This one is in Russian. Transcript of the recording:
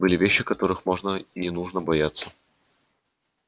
были вещи которых можно и не нужно бояться